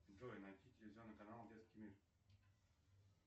джой найти телевизионный канал детский мир